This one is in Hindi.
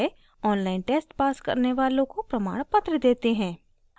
online test pass करने वालों को प्रमाणपत्र देते हैं